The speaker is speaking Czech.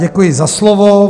Děkuji za slovo.